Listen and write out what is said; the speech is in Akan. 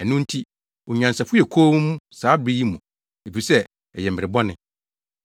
Ɛno nti, onyansafo yɛ komm saa mmere yi mu, efisɛ ɛyɛ mmere bɔne.